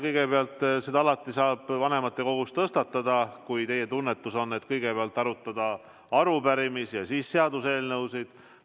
Kõigepealt, seda saab alati vanematekogus tõstatada, kui teie tunnetus on, et kõigepealt võiks arutada arupärimisi ja siis seaduseelnõusid.